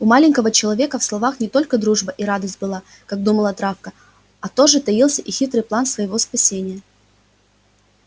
у маленького человека в словах не только дружба и радость была как думала травка а тоже таился и хитрый план своего спасения